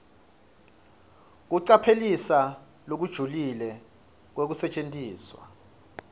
kucaphelisisa lokujulile kwekusetjentiswa